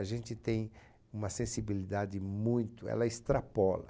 A gente tem uma sensibilidade muito... Ela extrapola.